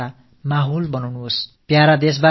நாட்டில் நல்லதொரு சூழலை ஏற்படுத்துங்கள்